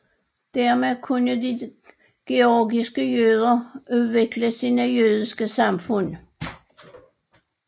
Dermed kunne de georgiske jøder udvikle sine jødiske samfund